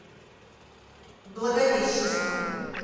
благовещенском